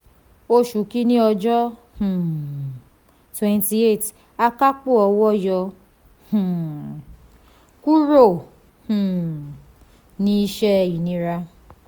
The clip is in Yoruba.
oṣù kínní ọjọ́ um 28: akápò owó yọ um kúrò um ní iṣẹ́ ìnira.